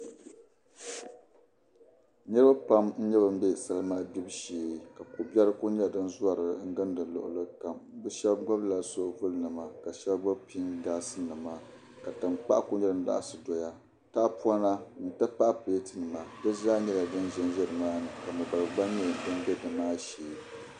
Niribi pam n. nye ban bɛ. salima gbibu shee ka. ko bɛri . kuli. nye. din zɔri. ginda luɣili kam. bi sheb gbubla. sobuli. nima ka shab gbubi piŋ gaasi nima. ka tan kpaɣu kuli laɣsi doya. tahi pɔna nti pahi pleati nima dizaa nyala. din zanza nimaa ni. ka mo dari. gbɔŋ. bɛ nimaa shee.